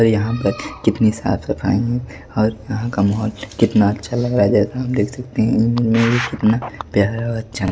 और यहां पर कितनी साफ-सफाई है और यहां का माहौल कितना अच्छा लग रहा है जैसा आप देख सकते हैं कितना प्यारा और अच्छा--